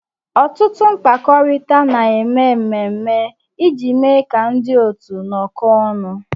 Ọtụtụ mkpakọrịta na-eme mmemme iji mee ka ndị otu nọọ kọ ọnụ